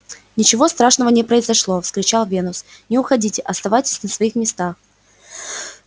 ничего страшного не произошло вскричал венус не уходите оставайтесь на своих местах